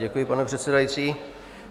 Děkuji, pane předsedající.